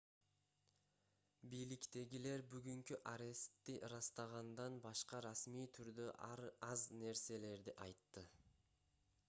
бийликтегилер бүгүнкү арестти ырастагандан башка расмий түрдө аз нерселерди айтты